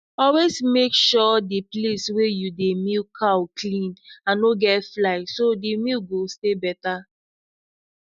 always make sure the place wey you dey milk cow clean and no get fly so the milk go stay better